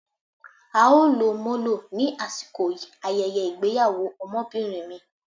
á o lò molo, ni asikò ayẹyẹ ìgbéyàwò Ọmọbinrin mi.